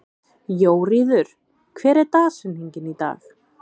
Jóríður, hver er dagsetningin í dag?